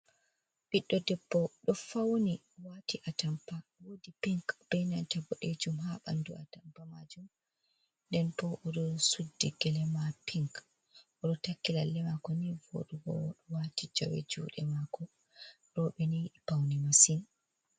Ɓiɗɗo debbo ɗo fauni wati a tampa wodi pink bei nanta boɗejum ha ɓandu a tampa majum, nden bo o ɗo suddi gelema pink oɗo taki lallemako nii voɗugo oɗo wati jawe juɗe mako robeni yidi pauni masin.